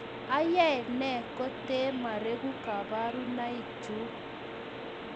Ayae nee kotee mareku kabarunaik chuuk